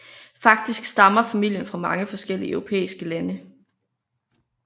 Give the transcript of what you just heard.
Faktisk stammer familien fra mange forskellige europæiske lande